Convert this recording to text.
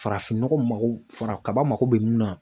Farafin nɔgɔ mago fara kaba mago bɛ mun na